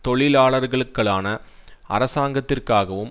தொழிலாளர்களுக்களான அரசாங்கத்திற்காகவும்